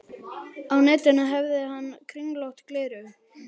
Á nefinu hafði hann kringlótt gleraugu.